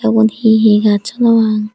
ubon hi hi gach honno pang.